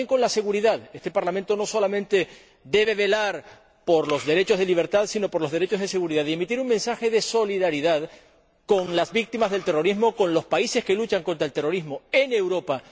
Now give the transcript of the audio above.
Pero este también tiene un compromiso con la seguridad no solamente debe velar por los derechos de libertad, sino por los derechos de seguridad, y emitir un mensaje de solidaridad con las víctimas del terrorismo, con los países que luchan contra el terrorismo en Europa...